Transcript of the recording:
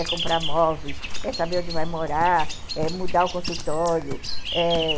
É comprar móveis, é saber onde vai morar, é mudar o consultório, é...